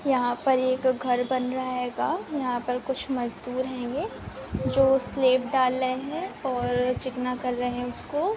यहाँ पर एक घर बन रहा हेगा यहाँ पर कुछ मज़दूर हेंगे जो स्लैब डाल रहे हैं और चिकना कर रहे हैं उसको--